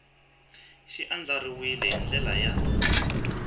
xi andlariwile hi ndlela ya